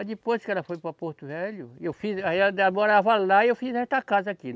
Aí depois que ela foi para Porto Velho, e eu fiz, aí ela morava lá e eu fiz esta casa aqui.